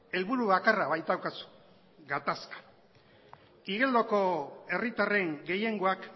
helburu bakarra baitaukazu gatazka igeldoko herritarren gehiengoak